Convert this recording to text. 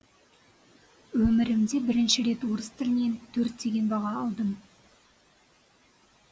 өмірімде бірінші рет орыс тілінен төрт деген баға алдым